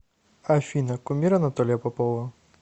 афина кумир анатолия попова